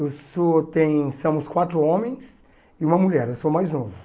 Eu sou, tem, somos quatro homens e uma mulher, eu sou mais novo.